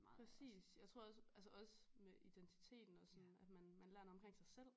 Præcis jeg tror også altså også med identiteten og sådan at man man lærer noget omkring sig selv